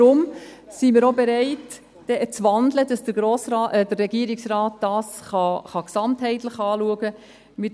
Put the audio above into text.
Deswegen sind wir auch bereit, zu wandeln, damit der Regierungsrat dies gesamtheitlich anschauen kann.